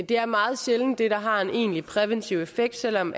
det er meget sjældent det der har en egentlig præventiv effekt selv om